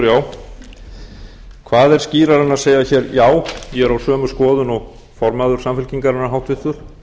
skýrara en að segja hér já ég er á sömu skoðun og formaður samfylkingarinnar háttvirtur